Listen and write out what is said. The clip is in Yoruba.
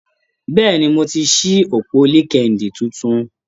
Bẹ́ẹ̀ni, mo ti ṣí òpó LinkedIn tuntun.